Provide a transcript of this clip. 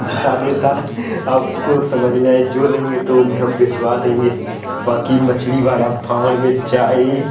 आपको समझ में आई जो लगे तो हम भिजवा देंगे बाकि मछली वाला भाड़ में जाये ।